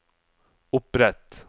opprett